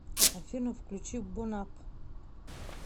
афина включи бонапп